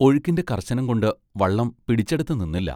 ഒഴുക്കിന്റെ കർശനം കൊണ്ട് വള്ളം പിടിച്ചെടത്തു നിന്നില്ല.